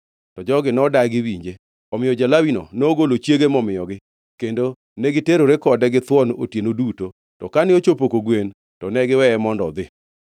To jogi nodagi winje. Omiyo ja-Lawino nogolo chiege momiyogi, kendo negiterore kode githuon otieno duto, to kane ochopo kogwen, to ne giweye mondo odhi.